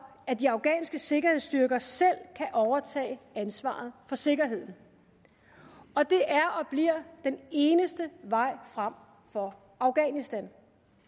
at de afghanske sikkerhedsstyrker selv kan overtage ansvaret for sikkerheden og det er og bliver den eneste vej frem for afghanistan